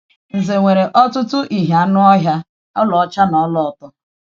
Ǹzè nwere ọtụtụ ìhè anụ̀ ọhịa, ọlaọcha, na ọlaọ̀tọ́.